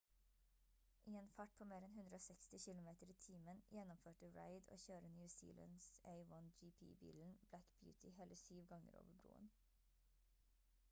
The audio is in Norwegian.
i en fart på mer enn 160 kilometer i timen gjennomførte reid å kjøre new zealands a1gp-bilen black beauty hele 7 ganger over broen